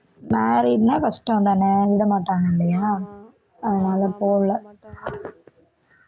married னா கஷ்டம் தான விடமாட்டாங்க இல்லையா அதனால போல